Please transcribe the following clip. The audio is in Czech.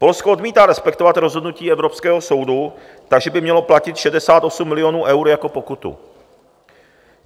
Polsko odmítá respektovat rozhodnutí evropského soudu, takže by mělo platit 68 milionů eur jako pokutu.